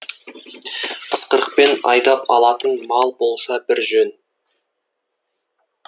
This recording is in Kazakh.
ысқырықпен айдап алатын мал болса бір жөн